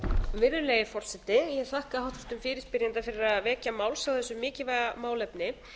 virðulegi forseti ég þakka háttvirtum fyrirspyrjanda fyrir að vekja máls á þessu mikilvæga málefni